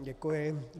Děkuji.